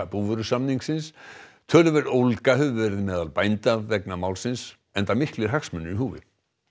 búvörusamnings töluverð ólga hefur verið meðal bænda vegna málsins enda miklir hagsmunir í húfi